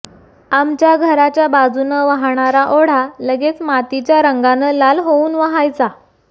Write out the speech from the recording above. आमच्या घराच्या बाजूनं वाहणारा ओढा लगेच मातीच्या रंगानं लाल होऊन वाहायचा